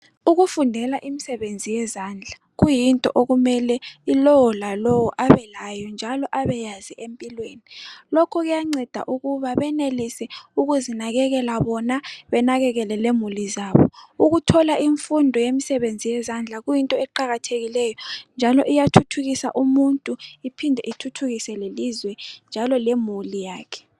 Ukufundela imisebenzi yezandla kuyinto okumele ilowo lalowo abelayo njalo abeyazi empilweni. Lokhu kuyanceda ukuba benelise ukuzinakekela bona benakekele lemuli zabo. Ukuthola imfundo yemisebenzi yezandla kuyinto eqakathekileyo njalo iyathuthukisa umuntu iphinde ithuthukise lelizwe njalo lemuli yakhe.